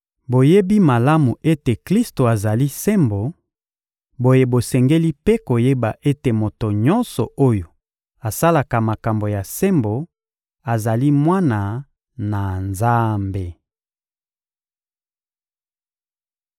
Boyebi malamu ete Klisto azali sembo; boye bosengeli mpe koyeba ete moto nyonso oyo asalaka makambo ya sembo azali mwana na Nzambe.